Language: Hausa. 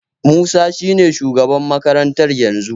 Musa shine shugaban makarantar yanzu.